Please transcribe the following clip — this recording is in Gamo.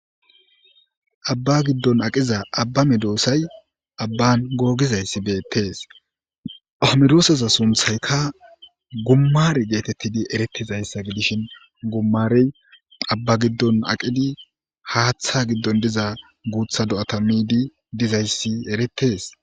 abba giddon aqiza abba midoosay abban googizayssi beettees ahomedooseza sunthaykka gummar geetettidi erettizayssa gidishin gummarey abba giddon aqidi haaththa giddon diza guutha do7ata miidi dizayssi eretees